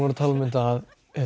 að tala um þetta